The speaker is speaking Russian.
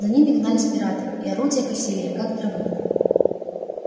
за ними гнались пираты и орудия косили их как траву